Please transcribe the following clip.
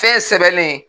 Fɛn sɛbɛnnen